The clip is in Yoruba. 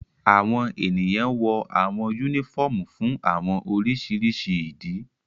Awọn eniyan wọ awọn unifọmú fun awọn oriṣiriṣi idi